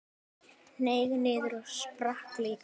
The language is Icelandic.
Hneig niður og sprakk líka.